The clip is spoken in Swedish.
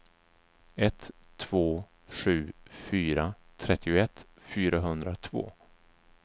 ett två sju fyra trettioett fyrahundratvå